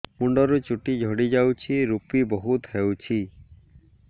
ମୁଣ୍ଡରୁ ଚୁଟି ଝଡି ଯାଉଛି ଋପି ବହୁତ ହେଉଛି